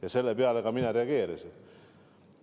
Ja selle peale ma ka reageerisin.